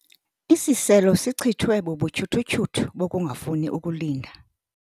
Isiselo sichithwe bubutyhuthutyhuthu bokungafuni ukulinda.